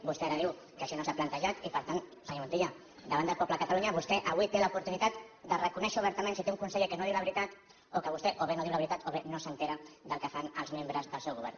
vostè ara diu que això no s’ha plantejat i per tant senyor montilla davant del poble de catalunya vostè avui té l’oportunitat de reconèixer obertament si té un conseller que no diu la veritat o que vostè o bé no diu la veritat o bé no s’assabenta del que fan els membres del seu govern